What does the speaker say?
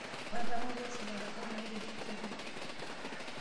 Atamorua esipata, kenaura osesen lai.